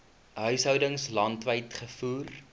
huishoudings landwyd gevoer